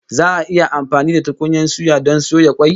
Za'a yi amfani da tukunyan suya don soya kwai